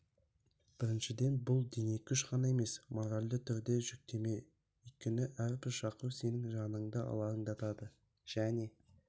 біріншіден бұл денекүш ғана емес моральды түрде де жүктеме өйткені әрбір шақыру сенің жаныңды алаңдатады және